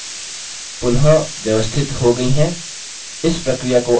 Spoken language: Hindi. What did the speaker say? slides पुनः व्यवस्थित हो गयी हैं